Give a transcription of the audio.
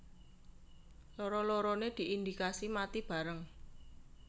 Loro loronè diindikasi mati bareng